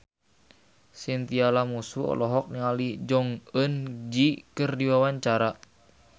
Chintya Lamusu olohok ningali Jong Eun Ji keur diwawancara